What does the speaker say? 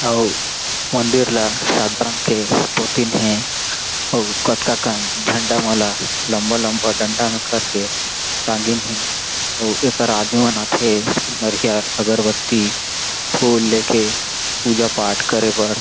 अउ मंदिर ला सादा रंग के पोतीन हें अउ कतका कन झंडा मन ला लम्बा-लम्बा डंडा में कर के टांगिन हें अउ एकरा आदमी मन आथे नरियर अगरबत्ती फूल लेके पूजा पाठ करे बर।